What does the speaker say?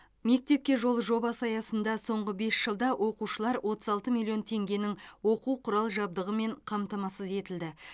мектепке жол жобасы аясында соңғы бес жылда оқушылар отыз алты миллион теңгенің оқу құрал жабдығымен қамтамасыз етілді